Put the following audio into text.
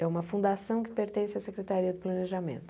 É uma fundação que pertence à Secretaria do Planejamento.